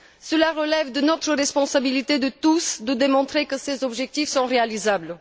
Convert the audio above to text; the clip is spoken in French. Cela relève de notre responsabilité à tous de démontrer que ces objectifs sont réalisables.